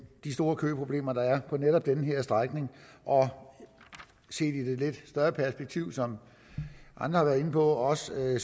de store køproblemer der er på netop den her strækning og set i det lidt større perspektiv som andre har været inde på også